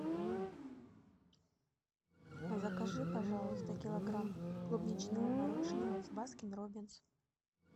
закажи пожалуйста килограмм клубничного мороженого из баскин роббинс